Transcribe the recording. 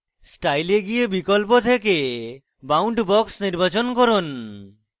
style এ গিয়ে বিকল্প থেকে boundbox নির্বাচন করুন